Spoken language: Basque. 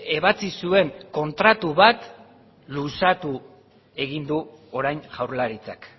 ebatsi zuen kontratu bat luzatu egin du orain jaurlaritzak